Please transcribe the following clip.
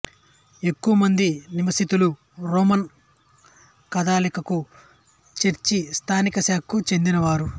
ఎక్కువమంది నివాసితులు Roman Catholic church స్థానిక శాఖకు చెందినవారు